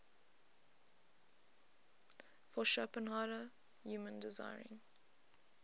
for schopenhauer human desiring